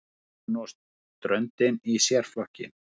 Garðurinn og ströndin í sérflokki.